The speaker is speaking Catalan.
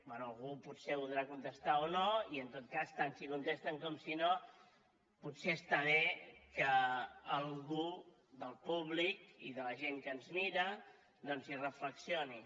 bé algú potser ho voldrà contestar o no i en tot cas tant si contesten com si no potser està bé que algú del públic i de la gent que ens mira doncs hi reflexioni